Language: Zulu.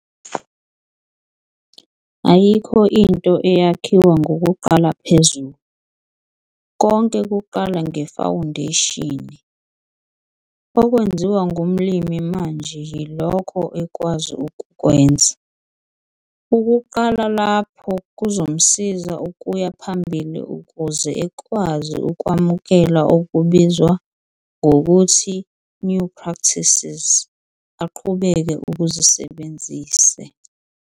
Ayikho into eyakhiwa ngokuqala phezulu - konke kuqala ngefawundeshini. Okwenziwa ngumlimi manje yilokho ekwazi ukukwenza - ukuqala lapho kuzomsiza ukuya phambili ukuze ekwazi ukwamukela okubizwa ngokuthi "new practices" aqhubeke ukuzisebenzise.